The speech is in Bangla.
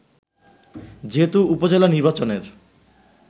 যেহেতু উপজেলা নির্বাচনের